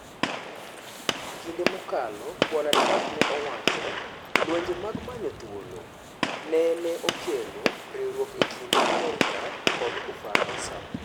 Kinde mokalo Bwana Trump ne owacho "Lwenje mag manyo thuolo" neneokelo riuruok e kind Amerka kod Ufaransa.